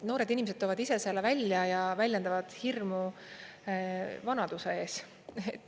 Noored inimesed toovad ise selle välja ja väljendavad hirmu vanaduse ees.